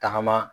Tagama